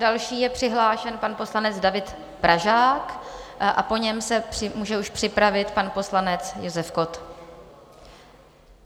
Další je přihlášen pan poslanec David Pražák a po něm se může už připravit pan poslanec Josef Kott.